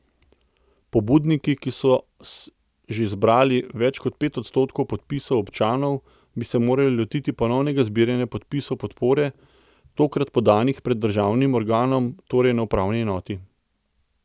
Pobudniki, ki so že zbrali več kot pet odstotkov podpisov občanov, bi se morali lotiti ponovnega zbiranja podpisov podpore, tokrat podanih pred državnim organom, torej na upravni enoti.